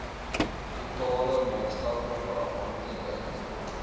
totale maatskaplike afhanklikheid